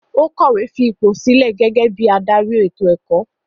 Ó kọ̀wé fipò sílẹ̀ gẹ́gẹ́ bí i adarí ètò-ẹ̀kọ́.